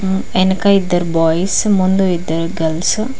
హ్మ్మ్ వెనక ఎదురు బాయ్స్ ముందు ఇద్దరు గర్ల్స్ --